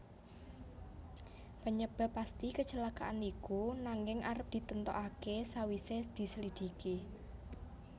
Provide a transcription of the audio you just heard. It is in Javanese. Penyebab pasti kecelakaan iku nanging arep ditentokake sakwise dislidiki